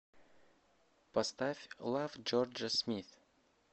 поставь лав джорджа смит